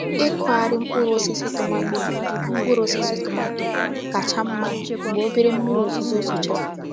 Ịkụgharị mkpụrụ osisi tọmátọ̀ mkpụrụ osisi tọmátọ̀ kacha mma mgbe obere mmírí òzùzó zochàrà